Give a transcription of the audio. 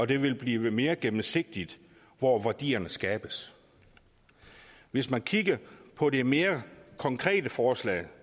det vil blive mere gennemsigtigt hvor værdierne skabes hvis vi kigger på det mere konkrete forslag